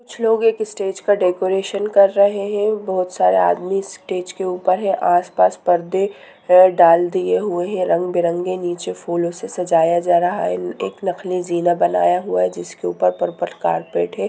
कुछ लोग एक स्टेज का डेकोरेशन कर रहे है बहुत सारे आदमी स्टेज के ऊपर है आसपास परदे है डाल दिए है रंग-बिरंगे फूलों से नीचे सजाया जा रहा है एक नकली जीना बनाया हुआ है जिसके ऊपर पर कारपेट है।